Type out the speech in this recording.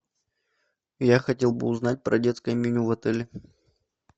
я хотел бы узнать про детское меню в отеле